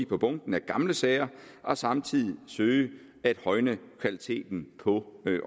på bunken af gamle sager og samtidig søge at højne kvaliteten på